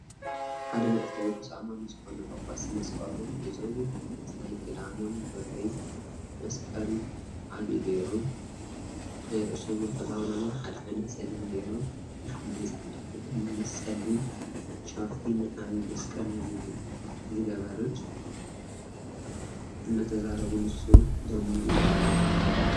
ሓደ ናይ ኦርቶዶክስ ኣማኒ ዝኮኑ ጻጻስ መስቀሎም ሒዞም ናይ ክሳዶም ብሪ መስቀል ዓብይ ጌሮም ናይርእሶምን ክዳኖምን ሓደ ዓይነት ፀሊም ጌሮም ንሓደ ፃዕዳ ክዳን ምስ ፀሊም ሻርፒ ን ዓብይ መስቀል ዝገበረ እናተዛረቡ ንሱ ድንን ኢሉ ኣሎ።